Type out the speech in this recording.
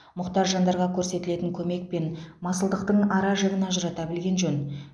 мұқтаж жандарға көрсетілетін көмек пен масылдықтың ара жігін ажырата білген жөн